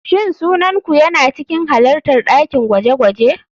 Shin sunan ku yana cikin halartar dakin gwaje-gwaje?